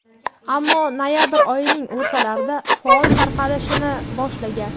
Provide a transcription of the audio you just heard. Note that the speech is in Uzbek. ammo noyabr oyining o‘rtalarida faol tarqalishni boshlagan.